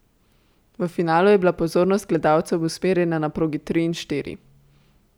V finalu je bila pozornost gledalcev usmerjena na progi tri in štiri.